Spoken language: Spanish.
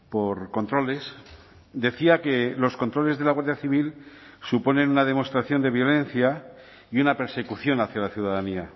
por controles decía que los controles de la guardia civil suponen una demostración de violencia y una persecución hacia la ciudadanía